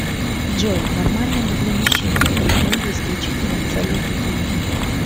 джой нормально ли для мужчины брить ноги исключительно в целях гигиены